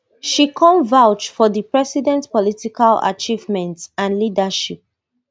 she come vouch for di president political achievements and leadership